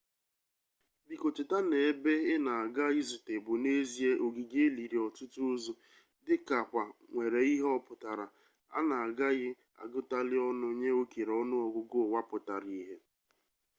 biko cheta na ebe ina aga izute bu n'ezie ogige eliri otutu ozu dika kwa nwere ihe-oputara ana agaghi agutali onu nye okere onu-ogugu uwa putara-ihe